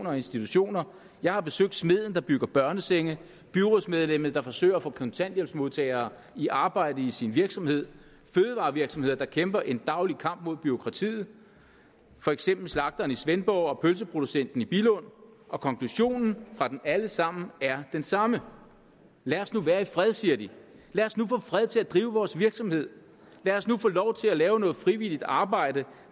og institutioner jeg har besøgt smeden der bygger børnesenge byrådsmedlemmet der forsøger at få kontanthjælpsmodtagere i arbejde i sin virksomhed fødevarevirksomheder der kæmper en daglig kamp mod bureaukratiet for eksempel slagteren i svendborg og pølseproducenten i billund og konklusionen fra dem alle sammen er den samme lad os nu være i fred siger de lad os nu få fred til at drive vores virksomhed lad os nu få lov til at lave noget frivilligt arbejde